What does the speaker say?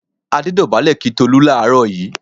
Adé dọ̀bálẹ̀ kí Tolú láàárọ̀ yìí.